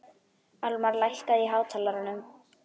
Almar, lækkaðu í hátalaranum.